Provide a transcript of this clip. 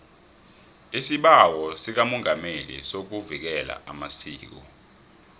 isibawo sikamongameli sokuvikela amasiko